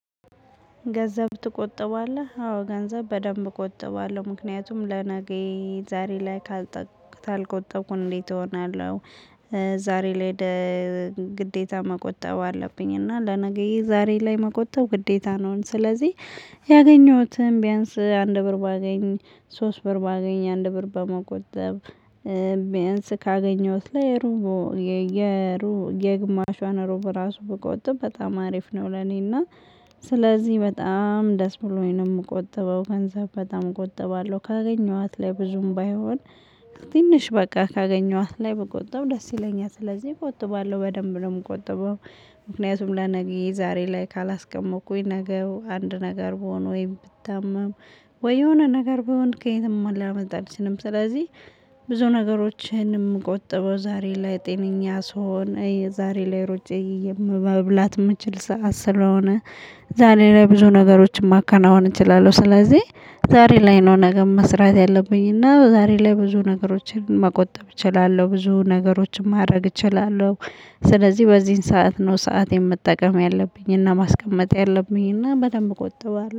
ገንዘብ ትቆጥባለህ አዎ ገንዘብ በደንብ እቆጥባለሁ ምክንያቱም ለነገዬ ዛሬ ላይ ካልተጠቀሰህ ካልቆጠብኩኝ እንዴት እሆናለሁ። ዛሬ ላይ ግዴታ መቆጠብ አለብኝ እና ለነገዬ ዛሬ ላይ መቆጠብ ግዴታ ነውን? ስለዚህ ያገኘሁትም ቢያንስ አንድ ብር ባገኝ ሶስት ብር ባገኝ አንድ ብር በመቆጠብ ቢያንስ ካገኘሁት ላይ ሩቦ የየሩብ የግማሽ ዋና ሩቦ ራሱ በጎጥም በጣም አሪፍ ነው። ለኔና ስለዚህ በጣም ደስ ብሎኝ ነው የምቆጥበው ገንዘብ በጣም እቆጥባለሁ። ካገኘኋት ላይ ብዙም ባይሆን ትንሽ በቃ ካገኘኋት ላይ ብቆጥብ ደስ ይለኛል ስለዚህ ቆጥባለሁ በደንብ ነው የምቆጥበው። ምክንያቱም ለነገ ዛሬ ላይ ካላስቀመጥኩኝ ነገር አንድ ነገር ብሆን ወይም ብታመም ወይ የሆነ ነገር ብሆን ከየትም ላመጣ አልችልም። ስለዚህ ብዙ ነገሮችን ምቆጥበው ዛሬ ላይ ጤነኛ ስሆን የዛሬ ላይ ሮጬ መብላት የምችል ሰዓት ስለሆነ ዛሬ ላይ ብዙ ነገሮችን ማከናወን እችላለሁ። ስለዚህ ዛሬ ላይ ነው ነገም መስራት ያለብኝ እና ዛሬ ላይ ብዙ ነገሮችን መቆጠብ እችላለሁ ብዙ ነገሮችን ማድረግ እችላለሁ። ስለዚህ በዚህን ሰዓት ነው ሰዓት መጠቀም ያለብኝና ማስቀመጥ ያለብኝና በደንብ እቆጥባለሁ